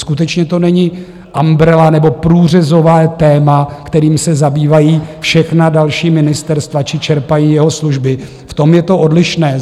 Skutečně to není umbrella nebo průřezové téma, kterým se zabývají všechna další ministerstva či čerpají jeho služby, v tom je to odlišné.